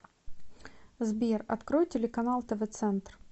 сбер открой телеканал тв центр